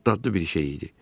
Bu çox dadlı bir şey idi.